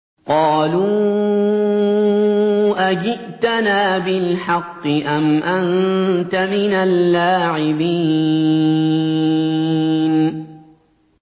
قَالُوا أَجِئْتَنَا بِالْحَقِّ أَمْ أَنتَ مِنَ اللَّاعِبِينَ